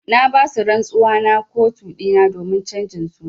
Na ba su rantsuwa na kotu dina domin chanjin suna.